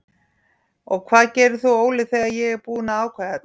Og hvað gerir þú Óli þegar ég er búinn að ákveða þetta?